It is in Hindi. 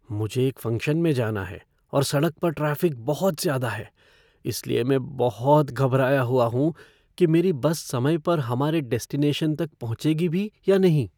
मुझे एक फ़ंक्शन में जाना है और सड़क पर ट्रैफ़िक बहुत ज्यादा है, इसलिए मैं बहुत घबराया हुआ हूँ कि मेरी बस समय पर हमारे डेस्टिनेशन तक पहुँचेगी भी या नहीं।